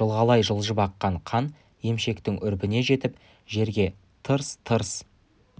жылғалай жылжып аққан қан емшектің үрпіне жетіп жерге тырс-тырс